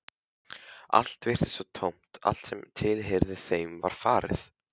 Allt virtist svo tómt, allt sem tilheyrði þeim var farið.